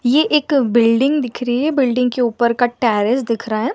ये एक बिल्डिंग दिख रही है बिल्डिंग के ऊपर का टेरेस दिख रहा है।